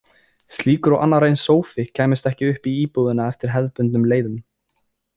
Slíkur og annar eins sófi kæmist ekki upp í íbúðina eftir hefðbundnum leiðum.